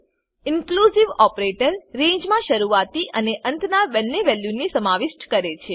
inclusive operator રેંજમા શરૂઆતી અને અંતના બંને વેલ્યુ ને સમાવિષ્ટ કરે છે